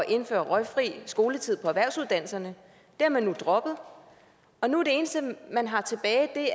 indføre røgfri skoletid på erhvervsuddannelserne det har man nu droppet og nu er det eneste man har tilbage